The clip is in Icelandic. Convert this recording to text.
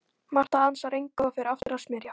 Marta ansar engu og fer aftur að smyrja.